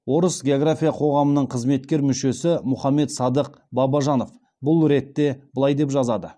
орыс география қоғамының қызметкер мүшесі мұхаммед салық бабажанов бұл ретте былай деп жазады